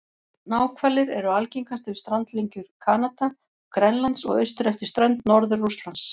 Náhvalir eru algengastir við strandlengjur Kanada og Grænlands og austur eftir strönd Norður-Rússlands.